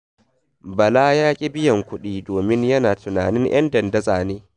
Bala ya ƙi biyan kuɗi domin yana tunanin 'yan dandatsa ne.